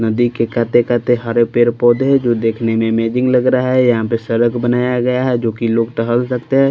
नदी के खाते-काते हरे पेड़ पौधे हैं जो देखने में अमेजिंग लग रहा है यहां पे सड़क बनाया गया है जो कि लोग टहल सकते हैं।